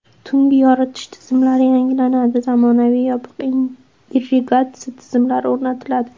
Tungi yoritish tizimlari yangilanadi, zamonaviy, yopiq irrigatsiya tizimlari o‘rnatiladi.